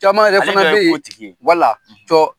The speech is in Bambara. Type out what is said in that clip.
Caman yɛrɛ fana bɛ yen; Ale fana ye kotigi ye; cɔ!